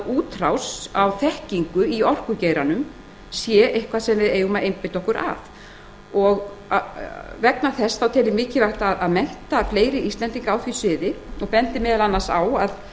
útrás á þekkingu í orkugeiranum sé eitthvað sem við eigum að einbeita okkur að ég tel því mikilvægt að mennta fleiri íslendinga á því sviði og bendi meðal annars á að